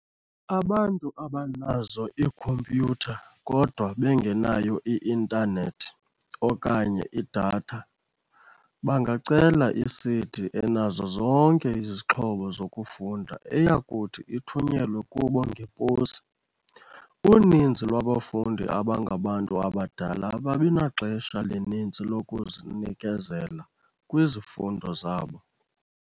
Abantu abanazo iikhompyutha kodwa bengenayo i-intanethi okanye i-data, bangacela i-CD enazo zonke izixhobo zokufunda, eyakuthi ithunyelwe kubo ngeposi. "Uninzi lwabafundi abangabantu abadala ababi naxesha lininzi lokunikezela kwizifundo zabo."